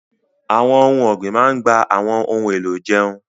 Àwọn ohun ọ̀gbìn máa ń gba àwọn ohun èlò ìjẹun